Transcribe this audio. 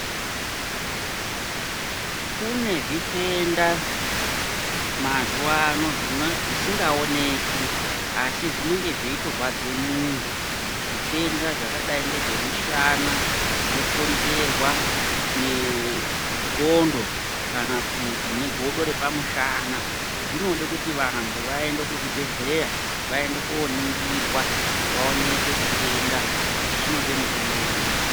Kune zvitenda mazuwa ano zvisingaoneki asi zvinenge zveitorwadze muntu. Zvitenda zvakadai ngezvemushana, zvinokonzerwa ngendxondo kana kuti ngegodo repamushana, zvinode kuti vantu vaende kuzvibhedhleya vaende koningirwa vaonekwe chitenda kuti chinoda mutombo uri.